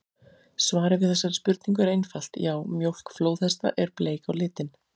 Svarið við þessari spurningu er einfalt: Já, mjólk flóðhesta er bleik á litinn!